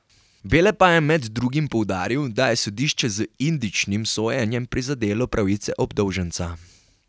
Bele pa je med drugim poudaril, da je sodišče z indičnim sojenjem prizadelo pravice obdolženca.